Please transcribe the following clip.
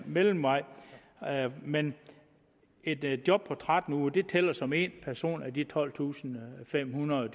mellemvej men et et job på tretten uger tæller som én person af de tolvtusinde og femhundrede